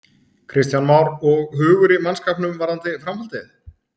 Kristján Már: Og hugur í mannskapnum varðandi framhaldið?